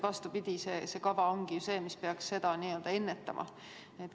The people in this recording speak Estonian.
Vastupidi, see kava ongi selleks, et seda ennetada.